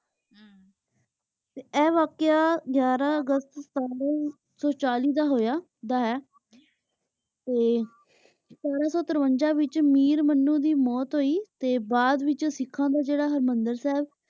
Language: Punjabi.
ਤੇ ਆਯ ਵਾਕ਼ਯਾ ਗਾਯਾਰਾਂ ਅਗਸਤ ਸਨ ਸੋ ਚਲੀ ਦਾ ਹੋਯਾ ਦਾ ਹੈ ਤੇ ਸਤਰਾਂ ਸੋ ਤੇਰ੍ਵਾਂਜਾ ਵਿਚ ਮੀਰ ਮਨੁ ਦੀ ਮੋਉਤ ਹੋਈ ਤੇ ਬਾਅਦ ਵਿਚ ਸੇਖਾਂ ਦਾ ਜੇਰਾ ਹਰ੍ਮੰਦਲ ਸਾਹਿਬ